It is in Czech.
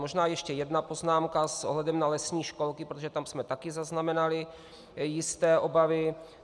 Možná ještě jedna poznámka s ohledem na lesní školky, protože tam jsme také zaznamenali jisté obavy.